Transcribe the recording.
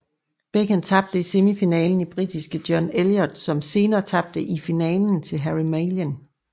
Beecken tabte i semifinalen til britiske John Elliott som senere tabte i finalen til Harry Mallin